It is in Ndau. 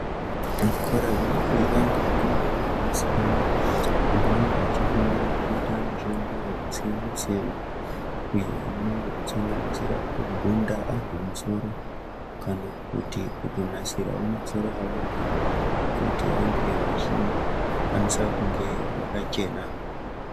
Zvikora zvinofundwa ngevakomana nevasikana apo vanenge vachifundira kuita mishando yakasiyana-siyana iyo inosanganisira kugunda antu musoro kana kuti kutonasirawo masoro evantu kuti vange vachikwanisa kunge vakachena.